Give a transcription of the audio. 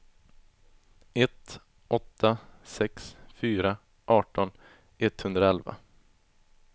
ett åtta sex fyra arton etthundraelva